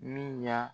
Min ɲa